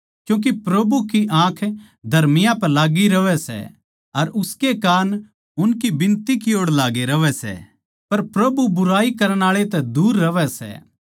क्यूँके प्रभु की आँख धर्मियाँ पै लाग्गी रहवै सै अर उसके कान उनकी बिनती की ओड़ लाग्गे रहवै सै पर प्रभु बुराई करण आळे तै दूर रहवै सै